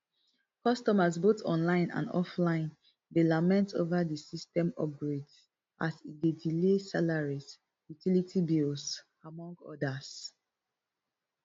customers both online and offline dey lament ova di system upgrade as e dey delay salaries utilities bills among odas